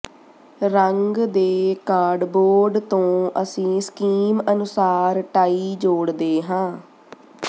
ਰੰਗ ਦੇ ਕਾਰਡਬੋਰਡ ਤੋਂ ਅਸੀਂ ਸਕੀਮ ਅਨੁਸਾਰ ਟਾਈ ਜੋੜਦੇ ਹਾਂ